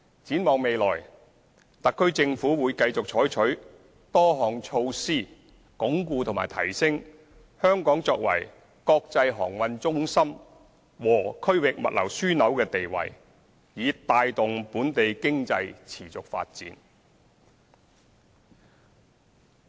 展望未來，特區政府會繼續採取多項措施鞏固和提升香港作為國際航運中心和區域物流樞紐的地位，以帶動本地經濟持續發展。